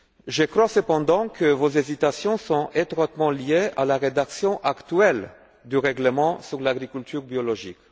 Je crois cependant que vos hésitations sont étroitement liées à la rédaction actuelle du règlement sur l'agriculture biologique.